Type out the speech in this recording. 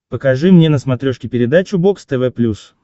покажи мне на смотрешке передачу бокс тв плюс